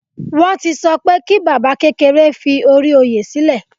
Wọn ti sọ pé kí baba kékeré fi ori oyè silẹ